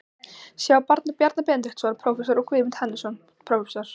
sjá Bjarna Benediktsson, prófessor, og Guðmund Hannesson, prófessor.